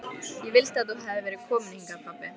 Ég vildi að þú hefðir verið kominn hingað pabbi.